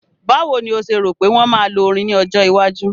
Báwo ni o ṣe rò pé wọ́n máa lo orin ní ọjọ́ iwájú?